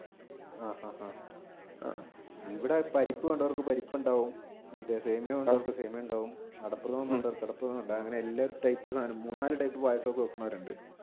ആഹ് ആഹ് ഇവിടെ പരിപ്പ് വേണ്ടവർക്ക് പരിപ്പ് ഉണ്ടാവും സേമിയ വേണ്ടവർക്ക് സേമിയ ഉണ്ടാവും അടപ്രഥമൻ വേണ്ടവർക്ക് അടപ്രഥമൻ ഉണ്ടാവും അങ്ങനെ എല്ലാ type സാധനം മൂന്ന് നാല് പായസം ഒക്കെ വെക്കുന്നവരുണ്ട്.